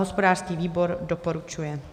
Hospodářský výbor doporučuje.